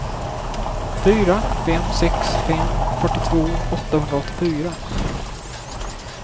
fyra fem sex fem fyrtiotvå åttahundraåttiofyra